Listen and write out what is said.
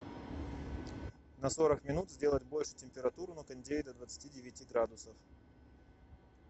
на сорок минут сделать больше температуру на кондее до двадцати девяти градусов